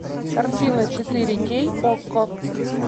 картина четыре кей окко